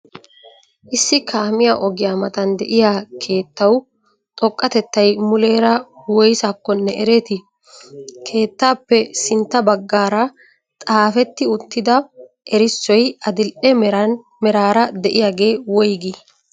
Issi kaamiyaa ogiyaa matan de'iya keettawu xoqqatettay muleera woysakkonee ereetii? keettaappe sintta baggara xaafeti uttida erissoy adil"e meraraa de'iyagee woyggii?